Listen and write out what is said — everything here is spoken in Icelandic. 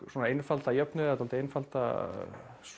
svona einfalda jöfnu eða dálítið einfalda